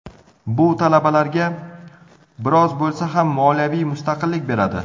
Bu talabalarga biroz bo‘lsa ham moliyaviy mustaqillik beradi.